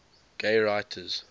gay writers